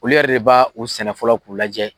U yɛrɛ de b'a u sɛnɛ fɔlɔ k'u lajɛ